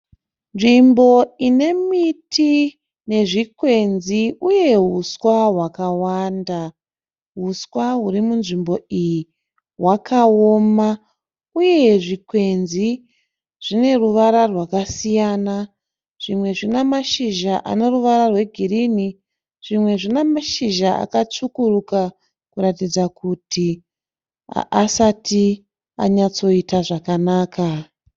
Nzvimbo ine miti nezvikwenzi uye huswa hwakawanda. Huswa huri munzvimbo iyi hwakaoma uye zvikwenzi zvine ruvara rwakasiyana. Zvimwe zvina mashizha ane ruvara rwegirini, zvimwe zvina mashizha akatsvukuruka kuratidza kuti haasati anyatsoita zvakanaka